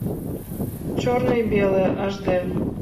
черное и белое аш дэ